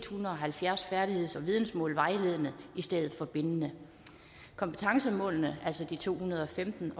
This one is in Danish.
hundrede og halvfjerds færdigheds og vidensmål vejledende i stedet for bindende kompetencemålene altså de to hundrede og femten